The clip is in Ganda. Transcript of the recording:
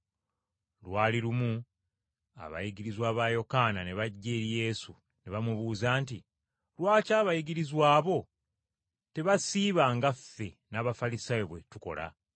Lwali lumu abayigirizwa ba Yokaana ne bajja eri Yesu ne bamubuuza nti, “Lwaki abayigirizwa bo tebasiiba nga ffe n’Abafalisaayo bwe tukola?”